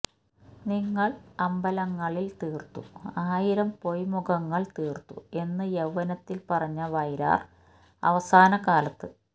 നിങ്ങള് അമ്പലങ്ങള് തീര്ത്തു ആയിരം പൊയ്മുഖങ്ങള് തീര്ത്തു എന്ന് യവ്വനത്തില് പറഞ്ഞ വയലാര് അവസാനകാലത്ത്